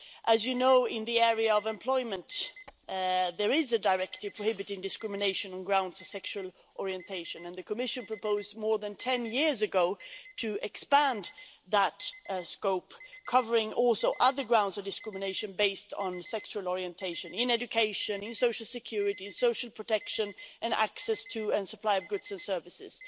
As you know, in the area of employment, there is a directive prohibiting discrimination on the grounds of sexual orientation and the Commission proposed more than ten years ago to expand that scope, also covering other grounds for discrimination based on sexual orientation in education, social security, social protection and access to and supply of goods and services.